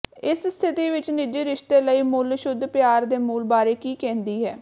ਇਸ ਸਥਿਤੀ ਵਿੱਚ ਨਿੱਜੀ ਰਿਸ਼ਤੇ ਲਈ ਮੁੱਲ ਸ਼ੁੱਧ ਪਿਆਰ ਦੇ ਮੂਲ ਬਾਰੇ ਕੀ ਕਹਿੰਦੀ ਹੈ